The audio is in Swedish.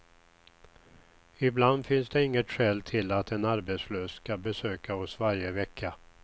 Ibland finns det inget skäl till att en arbetslös ska besöka oss varje vecka.